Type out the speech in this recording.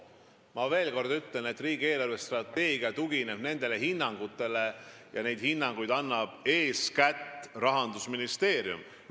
Ma veel kord ütlen, et riigi eelarvestrateegia tugineb hinnangutele, mida annab eeskätt Rahandusministeerium.